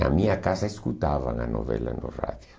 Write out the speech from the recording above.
Na minha casa escutavam a novela no rádio.